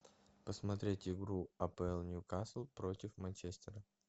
посмотреть игру апл ньюкасл против манчестера